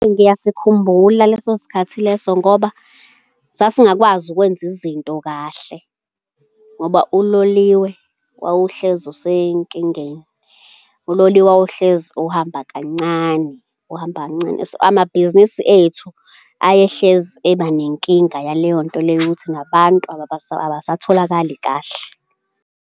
Ngiyasikhumbula leso sikhathi leso ngoba sasingakwazi ukwenza izinto kahle ngoba uloliwe wawuhlezi usenkingeni, uloliwe wawuhlezi uhamba kancane, uhamba kancane. Amabhizinisi ethu ayehlezi eba nenkinga yaleyo nto leyo ukuthi nabantu abasatholakali kahle.